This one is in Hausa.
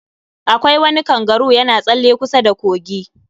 Akwai wani kangaru yana tsalle kusa da kogi